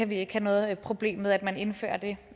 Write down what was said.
vi ikke noget problem med at man indfører det